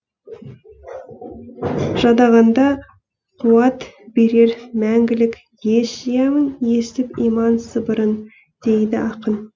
жадағанда қуат берер мәңгілік ес жиямын естіп иман сыбырын дейді ақын